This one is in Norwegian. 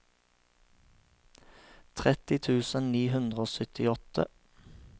trettitre tusen ni hundre og syttiåtte